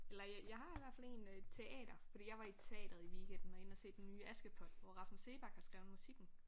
Eller jeg har i hvert fald én øh teater for jeg var i teateret i weekenden og inde at se den nye Askepot hvor Rasmus Seebach har skrevet musikken